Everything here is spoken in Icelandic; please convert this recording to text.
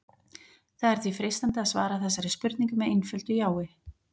Það er því freistandi að svara þessari spurningu með einföldu jái.